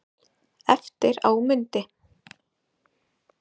Eftir á mundi